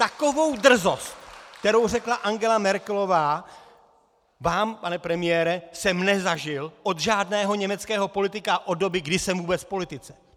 Takovou drzost, kterou řekla Angela Merkelová vám, pane premiére, jsem nezažil od žádného německého politika od doby, kdy jsem vůbec v politice.